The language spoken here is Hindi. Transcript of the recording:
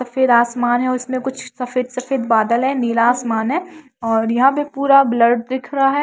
सफेद आसमान है और उसमें कुछ सफेद सफेद बादल है नीला आसमान है और यहां पे पूरा ब्लड दिख रहा है।